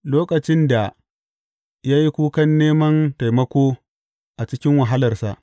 Lokacin da ya yi kukan neman taimako a cikin wahalarsa.